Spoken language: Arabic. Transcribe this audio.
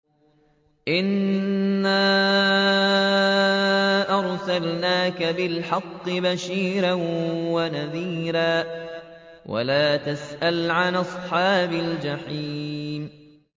إِنَّا أَرْسَلْنَاكَ بِالْحَقِّ بَشِيرًا وَنَذِيرًا ۖ وَلَا تُسْأَلُ عَنْ أَصْحَابِ الْجَحِيمِ